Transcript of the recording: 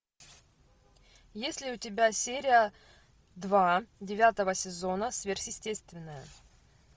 есть ли у тебя серия два девятого сезона сверхъестественное